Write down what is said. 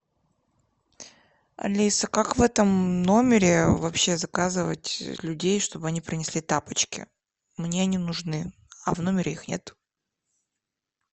алиса как в этом номере вообще заказывать людей чтобы они принесли тапочки мне они нужны а в номере их нет